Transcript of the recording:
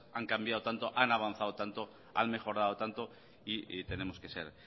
han cambiado tanto han avanzado tanto han mejorado tanto y tenemos que ser